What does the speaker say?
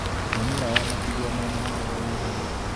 Mami wao amatigire mena mĩaka ĩigana?